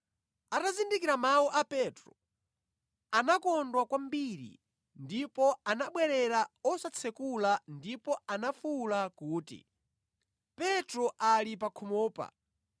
Atazindikira mawu a Petro anakondwa kwambiri ndipo anabwerera osatsekula ndipo anafuwula kuti, “Petro ali pa khomopa!”